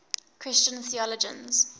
christian theologians